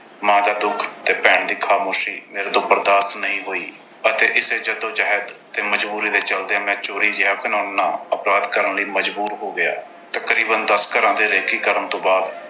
ਮਾਂ ਦਾ ਦੁੱਖ ਤੇ ਭੈਣ ਦੀ ਖਾਮੋਸ਼ੀ ਮੇਰੇ ਤੋਂ ਬਰਦਾਸ਼ਤ ਨਹੀਂ ਹੋਈ ਅਤੇ ਇਸੇ ਜੱਦੋ-ਜਹਿਦ ਤੇ ਮਜ਼ਬੂਰੀ ਦੇ ਚਲਦਿਆਂ ਮੈਂ ਚੋਰੀ ਜਿਹਾ ਘਿਨਾਉਣਾ ਅਪਰਾਧ ਕਰਨ ਲਈ ਮਜ਼ਬੂਰ ਹੋ ਗਿਆ। ਤਕਰੀਬਨ ਦਸ ਘਰਾਂ ਦੀ reccce ਕਰਨ ਤੋਂ ਬਾਅਦ